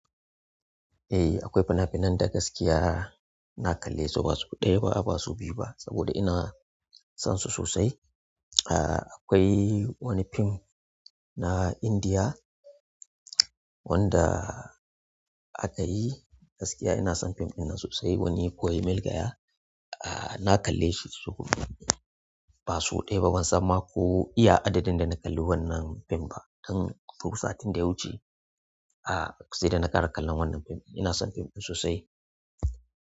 Eh akwai fina-finan da gaskiya nakalle su ba sau ɗaya ba ba sau biyu ba, saboda ina san su sosai ah akwai wani fim na Indiya wanda aka yi, gaskiya ina son fim ɗinnan sosai wani koyi milgaya. Ah nakalle shi so ba sau ɗaya ba, bansan ma ko iya adadin dana kalli wannan fim ɗin ba dan ko satin da ya wuce sai dana kara kallon wannan fim ina son fim ɗin sosai.